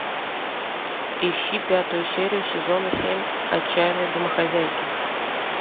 ищи пятую серию сезона семь отчаянные домохозяйки